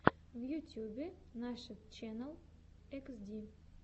в ютюбе нашид ченнал хд